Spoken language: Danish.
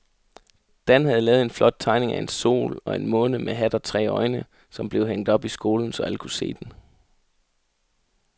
Dan havde lavet en flot tegning af en sol og en måne med hat og tre øjne, som blev hængt op i skolen, så alle kunne se den.